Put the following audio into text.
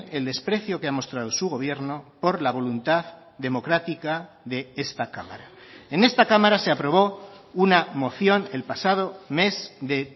el desprecio que ha mostrado su gobierno por la voluntad democrática de esta cámara en esta cámara se aprobó una moción el pasado mes de